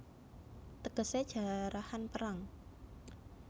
Tegesé Jarahan Perang